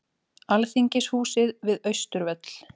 Alþingishúsið við Austurvöll.